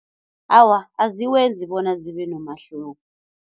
Awa, aziwenzi bona zibe nomahluko.